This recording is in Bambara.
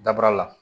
Dabaara la